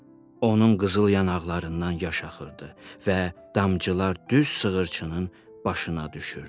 Onun qızıl yanaqlarından yaş axırdı və damcılar düz sığırçının başına düşürdü.